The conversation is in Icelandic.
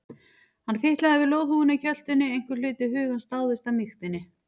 Hann fitlaði við loðhúfuna í kjöltunni, einhver hluti hugans dáðist að mýktinni.